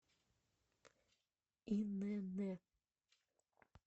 инн